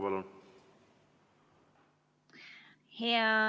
Palun!